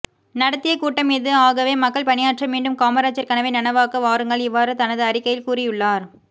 நடத்திய கூட்டம் இது ஆகவே மக்கள் பணியாற்ற மீண்டும் காமராஜர் கனவை நனவாக்க வாருங்கள் இவ்வாறு தனது அறிக்கையில் கூறியுள்ளார்